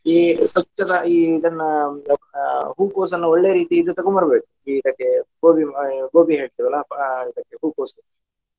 ಈ ಸ್ವಚ್ಚದ ಈ ಇದನ್ನ ಹೂಕೋಸನ್ನ ಒಳ್ಳೆ ರೀತಿ ಇದು ತಗೊಂಡು ಬರ್ಬೇಕು ಇ~ ಇದಕ್ಕೆ ಗೋಬಿ ಆ ಗೋಬಿ ಹೇಳ್ತೇವೆ ಅಲ್ಲಾ ಅಹ್ ಇದಕ್ಕೆ ಹೂಕೋಸು .